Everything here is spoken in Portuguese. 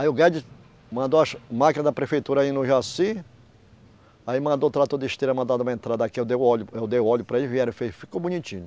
Aí o Guedes mandou as máquina da prefeitura ir no Jaci, aí mandou o trator de esteira, mandar dar uma entrada aqui, eu dei o óleo, eu dei o óleo para eles, vieram, fez, ficou bonitinho.